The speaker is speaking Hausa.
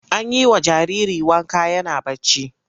An yi wa jariri wanka yana barci.